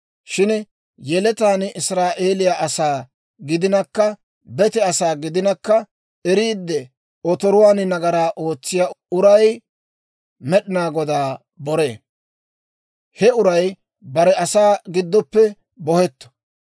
« ‹Shin yeletaan Israa'eeliyaa asaa gidinakka bete asaa gidinakka eriidde otoruwaan nagaraa ootsiyaa uray Med'inaa Godaa boree. He uray bare asaa giddoppe bohetto.